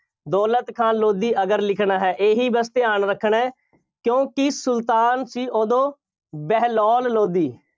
ਦੌਲਤ ਖਾਂ ਲੋਧੀ ਅਗਰ ਲਿਖਣਾ ਹੈ। ਇਹੀ ਬਸ ਧਿਆਨ ਰੱਖਣਾ, ਕਿਉਂਕਿ ਸੁਲਤਾਨ ਸੀ ਉਦੋਂ, ਬਹਿਲੋਲ ਲੋਧੀ।